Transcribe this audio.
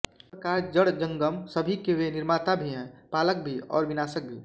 इस प्रकार जड़जंगम सभी के वे निर्माता भी हैं पालक भी और विनाशक भी